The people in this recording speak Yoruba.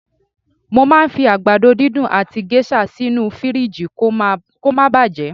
Mo màá ń fi àgbàdo dídùn àti géṣà sínú fìríìjì kó ma baà bàjẹ́